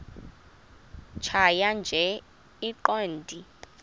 tjhaya nje iqondee